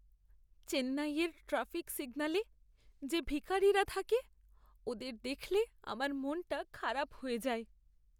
চেন্নাইয়ের ট্র্যাফিক সিগন্যালে যে ভিখারিরা থাকে ওদের দেখলে আমার মনটা খারাপ হয়ে যায়।